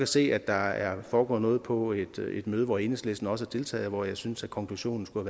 se at der er foregået noget på et møde hvor enhedslisten også har deltaget og hvor jeg synes at konklusionen skulle